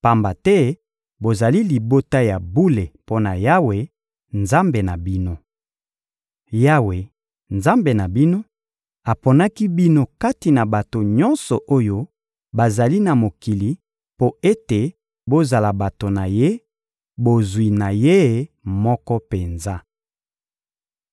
pamba te bozali libota ya bule mpo na Yawe, Nzambe na bino. Yawe, Nzambe na bino, aponaki bino kati na bato nyonso oyo bazali na mokili mpo ete bozala bato na Ye, bozwi na Ye moko penza.